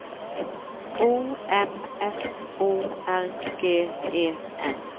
O M S O R G E N